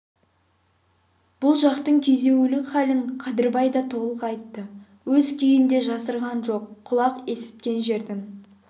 бұл жақтың күйзеулік халін қадырбай да толық айтты өз күйін де жасырған жоқ құлақ есіткен жердің